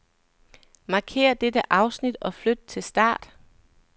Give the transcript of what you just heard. Markér dette afsnit og flyt til start.